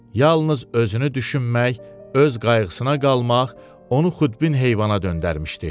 Yalnız özünü düşünmək, öz qayğısına qalmaq onu xudbin heyvana döndərmişdi.